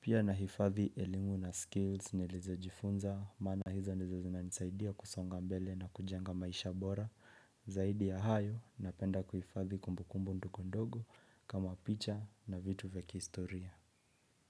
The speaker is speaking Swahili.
Pia nahifadhi elimu na skills nilizo jifunza, maina hizo ndizo zinanisaidia kusonga mbele na kujenga maisha bora. Zaidi ya hayo napenda kuhifadhi kumbukumbu ndokondogo kama picha na vitu vya kihistoria.